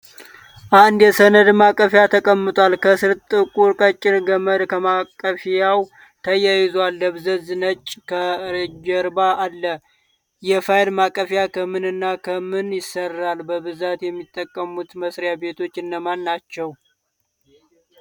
አንድ የሰነድ ማቀፊያ ተቀምጧል። ከስር ጥቁር ቀጭን ገመድ ከማቀፊያዉ ተያይዟል። ደብዛዛ ነጭ ከጀርባ አለ። የፋይል ማቀፊያዉ ከምን እና ከምን ይሰራል ? በብዛት የሚጠቀሙት መስሪያ ቤቶችን እነማን ናቸዉ?